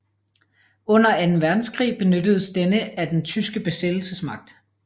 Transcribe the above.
Under anden verdenskrig benyttedes denne af den tyske besættelsesmagt